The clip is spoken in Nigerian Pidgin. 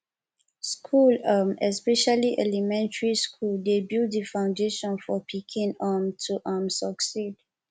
school um especially elementry school dey build di foundation for pikin um to um succeed